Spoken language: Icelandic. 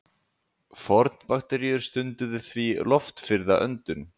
Fornbakteríur stunduðu því loftfirrða öndun.